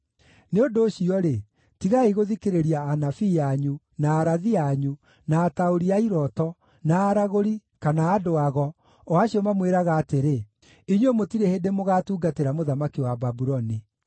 Nĩ ũndũ ũcio-rĩ, tigai gũthikĩrĩria anabii anyu, na arathi anyu, na ataũri-a-irooto, na aragũri, kana andũ-ago, o acio mamwĩraga atĩrĩ: ‘Inyuĩ mũtirĩ hĩndĩ mũgaatungatĩra mũthamaki wa Babuloni.’